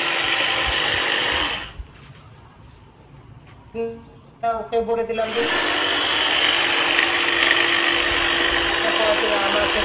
ওকে বলে দিলাম যে পরেরদিন আমাকে